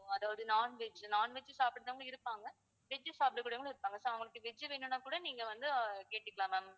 அதாவது non-veg non-veg சாப்பிடவங்க இருப்பாங்க veg சாப்பிட கூடியவங்களும் இருப்பாங்க so அவங்களுக்கு veg வேணும்னா கூட நீங்க வந்து கேட்டுக்கலாம் ma'am